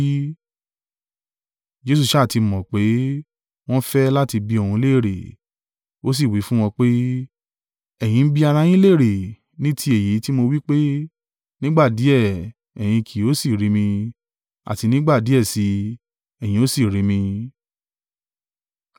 Jesu sá à ti mọ̀ pé, wọ́n ń fẹ́ láti bi òun léèrè, ó sì wí fún wọn pé, “Ẹ̀yin ń bi ara yín léèrè ní ti èyí tí mo wí pé, nígbà díẹ̀, ẹ̀yin kì yóò sì rí mi, àti nígbà díẹ̀ si, ẹ̀yin ó sì rí mi?